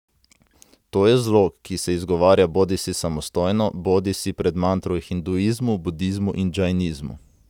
To je zlog, ki se izgovarja bodisi samostojno bodisi pred mantro v hinduizmu, budizmu in džainizmu.